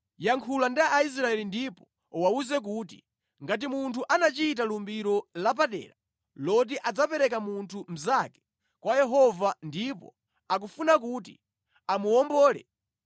“Yankhula ndi Aisraeli ndipo uwawuze kuti, ‘Ngati munthu anachita lumbiro lapadera loti adzapereka munthu mnzake kwa Yehova ndipo akufuna kuti amuwombole,